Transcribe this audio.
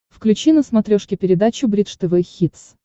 включи на смотрешке передачу бридж тв хитс